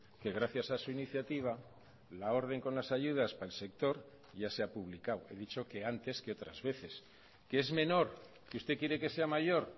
que gracias a su iniciativa la orden con las ayudas para el sector ya se ha publicado he dicho que antes que otras veces que es menor que usted quiere que sea mayor